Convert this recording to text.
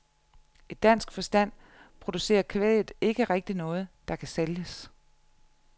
I dansk forstand producerer kvæget ikke rigtig noget, der kan sælges.